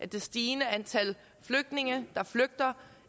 det stigende antal flygtninge der flygter